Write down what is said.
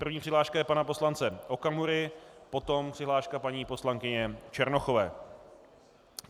První přihláška je pana poslance Okamury, potom přihláška paní poslankyně Černochové.